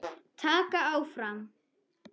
Vaka áfram.